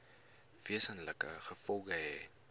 wesenlike gevolge hê